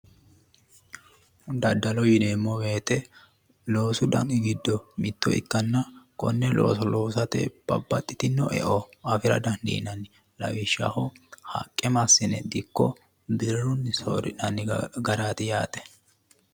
Daddalo yineemo woyite loosu dani giddo mitto ikkanna konne looso loosate babbaxxitino e"o afira dandiinanni lawishshaho haqqe massine dikko birrunni soorrinanni garaati yaate